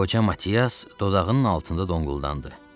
Qoca Matiyas dodağının altında donquldandı.